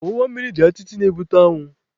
Ọwụwa mmiri dị atịtị na-ebute anwụ.